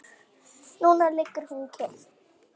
Núna liggur hún kyrr.